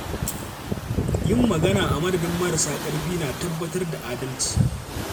Yin magana a madadin marasa ƙarfi na tabbatar da adalci.